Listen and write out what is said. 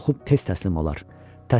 Qorxub tez təslim olar.